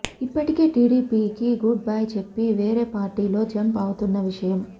ఇప్పటికే టీడీపీకి goodbye చెప్పి వేరే పార్టీలో జంప్ అవుతున్న విషయం